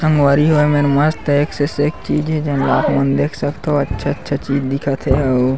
संगवारी हो ये मेर मस्त एक से सेक चीज़ हे जेन ला आप मन देख सकथव अच्छा-अच्छा चीज़ दिखत हे आऊ--